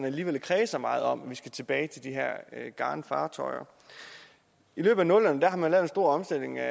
alligevel kredser meget om at vi skal tilbage til de her garnfartøjer i løbet af nullerne lavede man en stor omstilling af